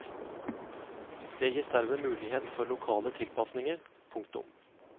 Det gis derved mulighet for lokale tilpasninger. punktum